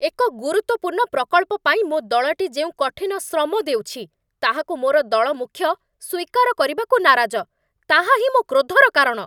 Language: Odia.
ଏକ ଗୁରୁତ୍ୱପୂର୍ଣ୍ଣ ପ୍ରକଳ୍ପ ପାଇଁ ମୋ ଦଳଟି ଯେଉଁ କଠିନ ଶ୍ରମ ଦେଉଛି, ତାହାକୁ ମୋର ଦଳମୁଖ୍ୟ ସ୍ୱୀକାର କରିବାକୁ ନାରାଜ, ତାହା ହିଁ ମୋ କ୍ରୋଧର କାରଣ।